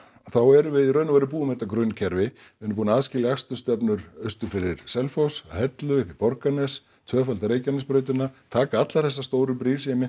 þá erum við í raun og veru búin með þetta grunnkerfi við erum búin að aðskilja akstursstefnur austur fyrir Selfoss að Hellu upp í Borgarnes tvöfalda Reykjanesbrautina taka allar þessar stóru brýr sem ég